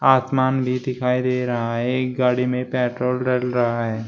आसमान भी दिखाई दे रहा है एक गाड़ी में पेट्रोल डल रहा है।